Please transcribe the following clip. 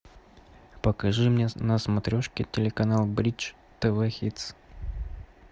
покажи мне на смотрешке телеканал бридж тв хитс